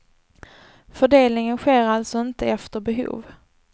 Fördelningen sker alltså inte efter behov.